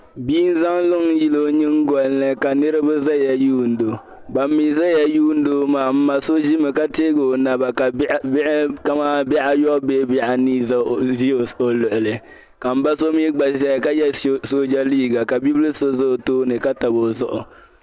Bia n zaŋ luŋ n yili o nyingolini ka bi ʒɛya lihiro ban mii ʒɛya lihiro maa n ma so kamani bihi ayobu bee bihi anii n ʒi o luɣuli la n ba so mii gba ʒɛya ka yɛ sooja liiga ka bibil so ʒɛ o tooni ka tabi o zuɣu